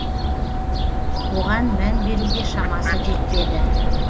оған мән беруге шамасы жетпеді